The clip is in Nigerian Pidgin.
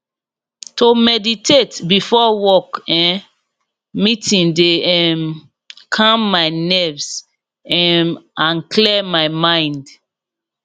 to meditate before work um meeting de um calm my nerves um and clear my mind